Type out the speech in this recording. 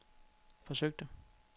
forsøgte